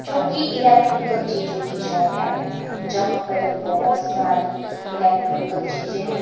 जोकि इलेक्ट्रिकल चीजों की शॉप है जहां पर बहोत सारी इलेक्ट्रिकल चीजे हैं।